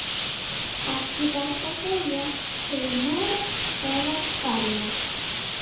Ekki gott að segja, til Noregs eða Færeyja.